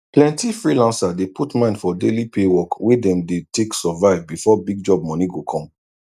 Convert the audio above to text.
plenti freelancer dey put mind for daily pay work wey dem dey take survive before big job moni go come